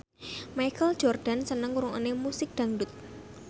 Michael Jordan seneng ngrungokne musik dangdut